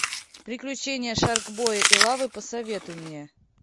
приключения шаркбоя и лавы посоветуй мне